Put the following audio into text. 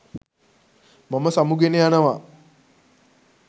මම සමුගෙන යනවා